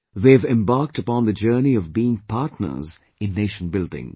They have embarked upon the journey of being partners in Nation building